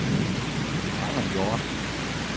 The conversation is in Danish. Erna Hjort